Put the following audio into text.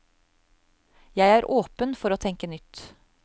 Jeg er åpen for å tenke nytt.